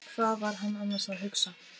Hvað var hann annars að hugsa?